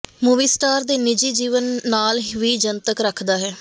movie star ਦੇ ਨਿੱਜੀ ਜੀਵਨ ਨਾਲ ਵੀ ਜਨਤਕ ਰੱਖਦਾ ਹੈ